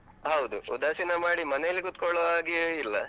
ಹೌದು. ಉದಾಸಿನ ಮಾಡಿ ಮನೆಯಲ್ಲಿ ಕುತ್ಕೊಳ್ಳುವ ಹಾಗೆಯೇ ಇಲ್ಲ.